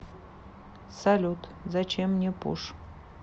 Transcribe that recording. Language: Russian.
салют зачем мне пуш